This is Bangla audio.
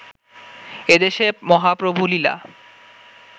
এদেশে মহাপ্রভুলীলা